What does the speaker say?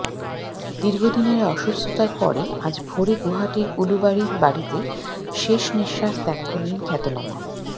দীর্ঘদিনের অসুস্থতার পরে আজ ভোরে গুয়াহাটির উলুবাড়ির বাড়িতে শেষ নিঃশ্বাস ত্যাগ করলেন খ্যাতনামা